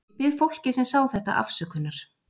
Ég bið fólkið sem sá þetta afsökunar.